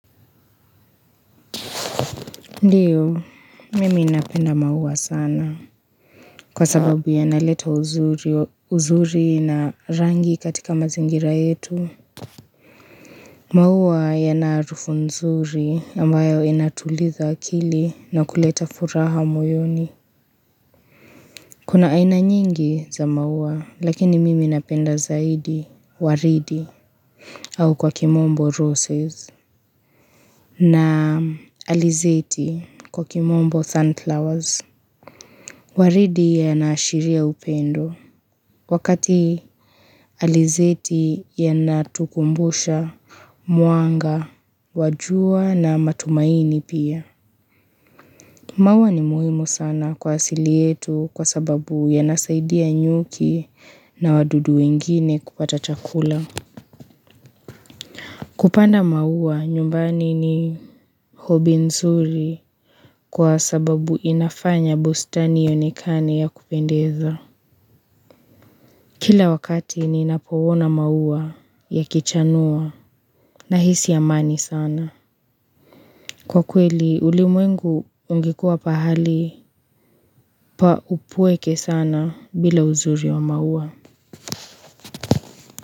Ndiyo, mimi ninapenda maua sana kwa sababu yanaleta uzuri uzuri na rangi katika mazingira yetu maua yana harufu nzuri ambayo inatulitha akili na kuleta furaha moyoni kuna aina nyingi za maua lakini mimi napenda zaidi waridi au kwa kimombo roses na alizeti kwa kimombo sunflowers Waridi yanaashiria upendo wakati alizeti yanatukumbusha mwanga, wa jua na matumaini pia. Maua ni muhimu sana kwa asili yetu kwa sababu yanasaidia nyuki na wadudu wengine kupata chakula. Kupanda maua nyumbani ni hobi nzuri kwa sababu inafanya bustani ionekane ya kupendeza. Kila wakati ninapowona maua yakichanua nahisi amani sana. Kwa kweli ulimwengu ungekuwa pahali pa upweke sana bila uzuri wa maua.